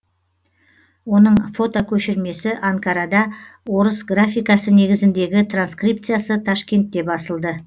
оның фотокөшірмесі анкарада орыс графикасы негізіндегі транскрипциясы ташкентте басылды